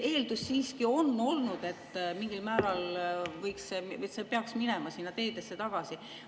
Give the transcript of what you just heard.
Eeldus siiski on olnud, et mingil määral peaks see minema teedesse tagasi.